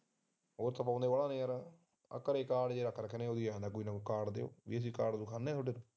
ਘਰੇ ਕਾਰਡ ਅਸੀਂ ਦਿਖਾਉਂਦੇ ਐ ਯਾਰ